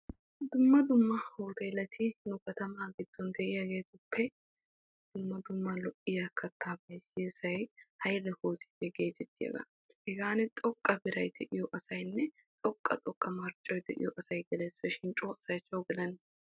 Dumma dumma uteletti nu kattama giddon de'iyagettuppe dumma dumma lo'iyaa katta qommoy deiyosay haile uteliyaa geteettiyaga. Hegani xoqqa biray de'iyo asayne xoqqa xoqqa marccoy de'iyo asay gelessippe shin co asay co gelena.